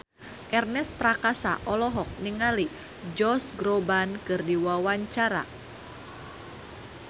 Ernest Prakasa olohok ningali Josh Groban keur diwawancara